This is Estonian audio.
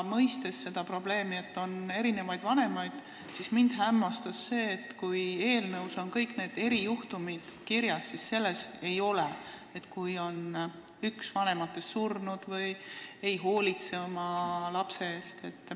Mõistes seda probleemi ja teades, et on erinevaid vanemaid, mind hämmastab see, et kui eelnõus on kõik need erijuhtumid kirjas, siis selles ei ole juhtumit, kui üks vanematest on surnud või ei hoolitse oma lapse eest.